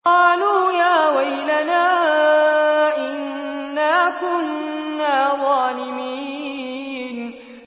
قَالُوا يَا وَيْلَنَا إِنَّا كُنَّا ظَالِمِينَ